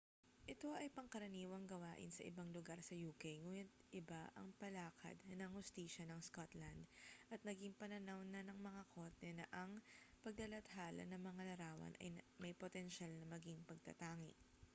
ito ay pangkaraniwang gawain sa ibang lugar sa uk nguni't iba ang palakad ng hustisya ng scotland at naging pananaw na ng mga korte na ang paglalathala ng mga larawan ay may potensyal na maging pagtatangi